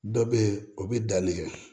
Dɔ bɛ ye o bɛ danni kɛ